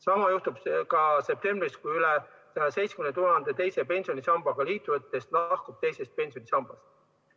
Sama juhtub ka septembris, kui üle 170 000 teise pensionisambaga liitunutest lahkub teisest pensionisambast.